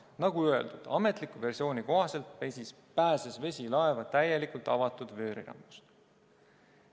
Nagu öeldud, ametliku versiooni kohaselt pääses vesi laeva täielikult avatud vöörirambist.